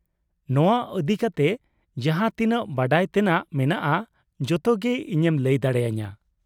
ᱱᱚᱶᱟ ᱤᱫᱤ ᱠᱟᱛᱮ ᱡᱟᱦᱟᱸ ᱛᱤᱱᱟᱹᱜ ᱵᱟᱰᱟᱭ ᱛᱮᱱᱟᱜ ᱢᱮᱱᱟᱜᱼᱟ ᱡᱚᱛᱚ ᱜᱮ ᱤᱧᱮᱢ ᱞᱟᱹᱭ ᱫᱟᱲᱮ ᱟᱹᱧᱟᱹ ᱾